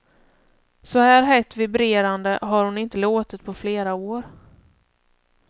Så här hett vibrerande har hon inte låtit på flera år.